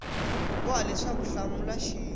boha leswaku u hlamula xin